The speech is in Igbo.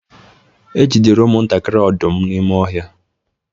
e jidere ụmụ-ntakịrị odum n’ime ọhịa